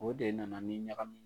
O de nana ni ɲagami ye.